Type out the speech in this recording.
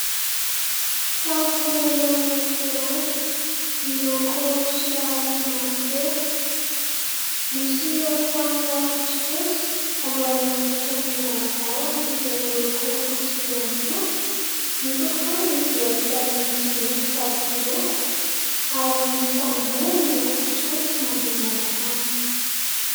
Trano fonenana anankiray miloko somary mavokely. Misy arofanina fotsifotsy alohan'ny hiditra ny varavarana izay miloko fotsy ihany koa. Ny tokontany dia vita amin'ny simenitra tsy miloko ary misy tamboho miloko fotsifotsy manodidina ny trano.